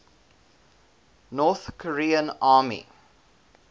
north korean army